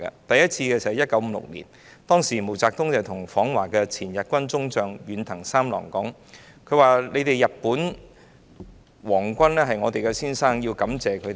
第一次是在1956年，當時毛澤東向訪華的前日軍中將遠藤三郎說："你們日本的皇軍也是我們的先生，我們要感謝你們。